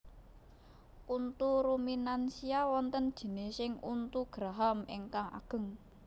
Untu ruminansia wonten jinis untu geraham ingkang ageng